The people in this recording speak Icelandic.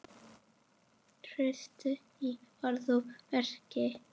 Traust í orði og verki.